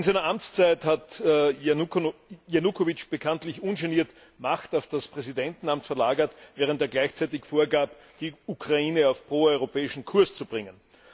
In seiner Amtszeit hat Janukowytsch bekanntlich ungeniert Macht auf das Präsidentenamt verlagert, während er gleichzeitig vorgab, die Ukraine auf pro europäischen Kurs zu bringen.